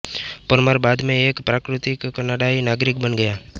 परमार बाद में एक प्राकृतिक कनाडाई नागरिक बन गया